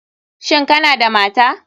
Shin Kana da mata?